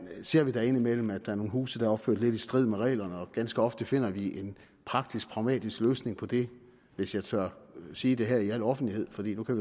ser vi da indimellem at der er nogle huse der er opført lidt i strid med reglerne og ganske ofte finder vi en praktisk pragmatisk løsning på det hvis jeg tør sige det her i al offentlighed for vi kan